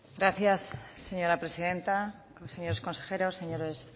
gracias señora presidenta señores consejeros señores